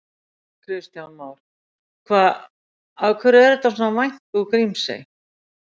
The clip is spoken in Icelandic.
Kristján Már: Hvað, af hverju er þetta svona vænt úr Grímsey?